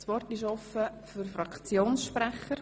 Das Wort ist offen für Fraktionssprecher.